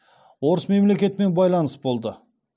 орыс мемлекетімен байланыс болды